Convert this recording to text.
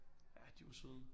Ja de var søde